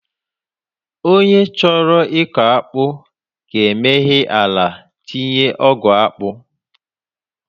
Onye chọrọ ịkọ akpu ga-emeghe ala tinye ogu akpu